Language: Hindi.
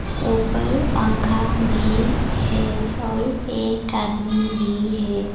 ऊपर पंखा भी है और एक आदमी भी है।